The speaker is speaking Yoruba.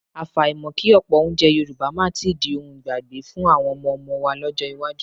Àfàìmọ̀ kí ọ̀pọ̀ oúnjẹ Yorùbá máa tí di ohun ìgbàgbé fún àwọn ọmọọmọ wa lọ́jọ́ iwájú